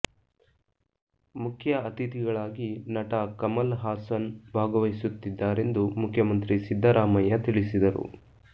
ಮುಖ್ಯ ಅತಿಥಿಗಳಾಗಿ ನಟ ಕಮಲಹಾಸನ್ ಭಾಗವಹಿಸು ತ್ತಿದ್ದಾರೆಂದು ಮುಖ್ಯಮಂತ್ರಿ ಸಿದ್ದರಾಮಯ್ಯ ತಿಳಿಸಿದರು